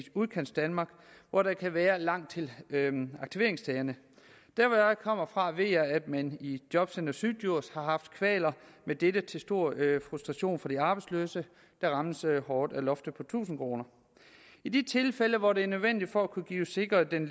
udkantsdanmark hvor der kan være langt til aktiveringsstederne der hvor jeg kommer fra ved jeg at man i jobcenter syddjurs har haft kvaler med dette til stor frustration for de arbejdsløse der rammes hårdt af loftet på tusind kroner i tilfælde hvor det er nødvendigt for at kunne sikre den